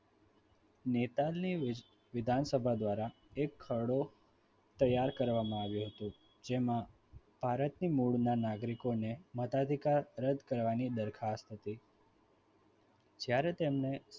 નેતાલની વિધાનસભા દ્વારા એક ખરડો તૈયાર કરવામાં આવ્યો હતો જેમાં ભારતની મૂળના નાગરિકોને મતાધિકાર રદ કરવાની દરખાસ્ત હતી જ્યારે તેમણે